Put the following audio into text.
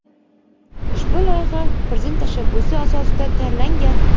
Ushbu loyiha Prezident tashabbusi asosida tayyorlangan.